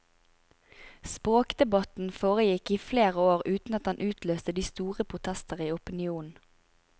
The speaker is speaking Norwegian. Språkdebatten foregikk i flere år uten at den utløste de store protester i opinionen.